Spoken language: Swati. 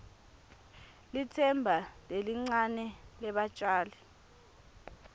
litsemba lelincane lebatjali